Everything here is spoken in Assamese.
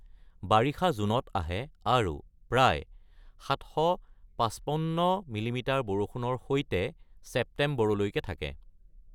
বাৰিষা জুনত আহে আৰু প্ৰায় ৭৫৫ মিমি বৰষুণৰ সৈতে ছেপ্টেম্বৰ লৈকে থাকে।